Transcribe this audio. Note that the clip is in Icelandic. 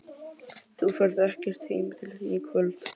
Þú ferð ekkert heim til þín í kvöld.